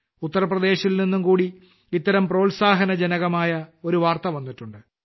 ഉത്തർപ്രദേശിൽ നിന്നുംകൂടി ഇത്തരം പ്രോത്സാഹജനകമായ ഒരു വാർത്ത വന്നിട്ടുണ്ട്